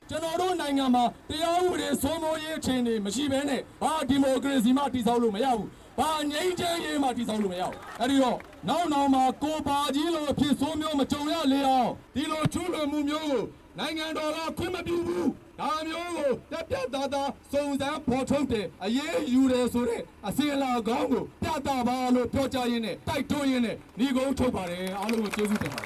ကျနော်တို့ နိုင်ငံမှာတရားဥပဒေ စိုးမိုးရေး အခြေအနေမရှိပဲနဲ့ ဘာဒီမိုကရေစီမှ တည်ဆောက်လို့မရဘူး၊ ဘာငြိမ်းချမ်းရေးမှ တည်ဆောက်လို့မရဘူး၊ အဲ့ဒီတော့ နောက်နောင် မှာ ကိုပါကြီးလို အဖြစ်ဆိုးမကြုံရလေအောင် ဒီလို ကျူးလွန်မှှုမျိုးကို နိုင်ငံတော်က ခွင့်မပြုဘူး၊ ဒါမျိုးကို ပြတ်ပြတ်သားသား စုံစမ်းဖော်ထုတ်တယ်၊ အရေးယူတယ်ဆိုတဲ့ အစဉ်အလာကောင်းကို ပြသပါလို့ ပြောကြားရင်းနဲ့ တိုက်တွန်းရင်နဲ့ နိဂုံးချုပ် ပါတယ်၊ အားလုံးကို ကျေးဇူးတင်ပါတ